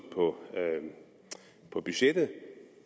på budgettet